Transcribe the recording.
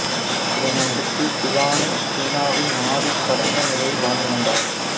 இதனை அடுத்து சிகானூக் சீனாவில் நாடு கடந்த நிலையில் வாழ்ந்து வந்தார்